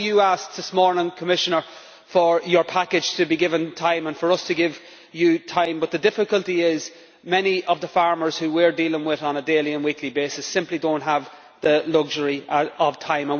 I know you asked this morning, Commissioner, for your package to be given time and for us to give you time, but the difficulty is that many of the farmers who we are dealing with on a daily and weekly basis simply do not have the luxury of time.